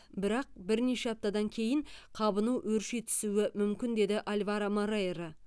бірақ бірнеше аптадан кейін қабыну өрши түсуі мүмкін деді альваро морейро